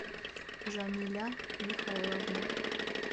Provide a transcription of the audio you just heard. жамиля михайловна